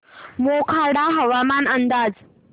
मोखाडा हवामान अंदाज